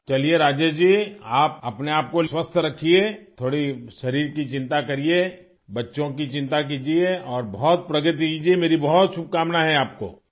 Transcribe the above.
چلئے راجیش جی، اپنے آپ کو تندرست رکھئے، تھوڑی جسم کی فکر کیجئے، بچوں کی فک کیجئے اور بہت ترقی کیجئے، میری بہت نیک خواہشات ہیں آپ کو